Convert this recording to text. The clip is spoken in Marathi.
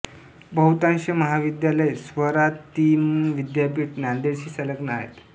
बहुतांश महाविद्यालय स्वा रा ति म विद्यापिठ नान्देडशी संलग्न आहेत